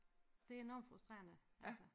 Det enormt frustrerende altså